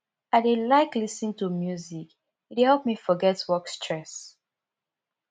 i dey like lis ten to music e dey help me forget work stress